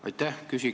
Aitäh!